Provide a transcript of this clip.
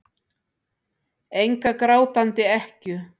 Enga grátandi ekkju.